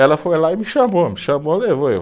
Ela foi lá e me chamou, me chamou, levou eu